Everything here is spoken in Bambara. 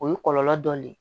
O ye kɔlɔlɔ dɔ ye